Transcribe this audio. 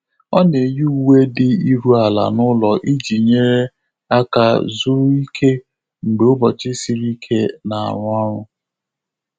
Ọ́ nà-éyí úwé dị́ írú álá n’ụ́lọ́ ìjí nyéré áká zùrù íké mgbè ụ́bọ̀chị̀ siri íké nà-árụ́ ọ́rụ́.